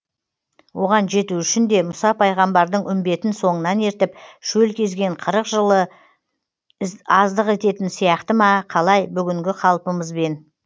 оған жету үшін де мұса пайғамбардың үмбетін соңынан ертіп шөл кезген қырық жылы аздық ететін сияқты ма қалай бүгінгі қалпымызбен